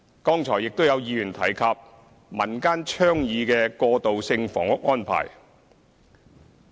剛才亦有議員提及民間倡議的過渡性房屋安排。